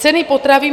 Ceny potravin.